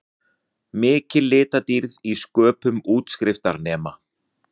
Mikil litadýrð í sköpun útskriftarnema